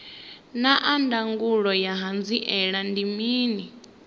naa ndangulo ya hanziela ndi mini